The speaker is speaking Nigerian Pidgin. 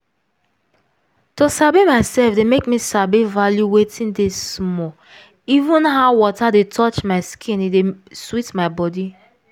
to sabi myself dey make me sabi value wetin dey small even how water dey touch my skin e dey sweet my body.